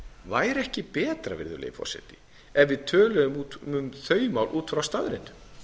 væri ekki betra virðulegi forseti ef við töluðum um þau mál út frá staðreyndum